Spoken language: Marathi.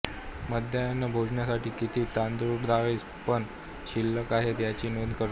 माध्यान्ह भोजनासाठी किती तांदूळडाळसरपण शिल्लक आहे याची नोंद करणे